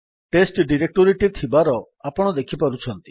test ଡିରେକ୍ଟୋରୀଟି ଥିବାର ଆପଣ ଦେଖିପାରୁଛନ୍ତି